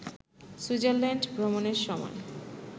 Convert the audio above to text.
Switzerland ভ্রমণের সময়